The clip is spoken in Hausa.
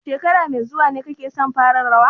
Shekara mai zuwa ne kake son fara rawa?